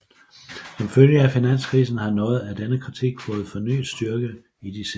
Som følge af finanskrisen har noget af denne kritik fået fornyet styrke i de senere år